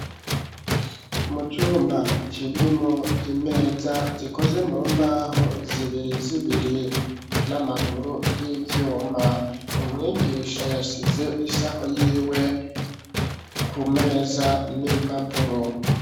Mu cumba kirimo imeza zikoze mu mbaho zibiri zibiri n'amaguru y'ivyuma umwigisha yashize isaho yiwe kumeza n'impapuro.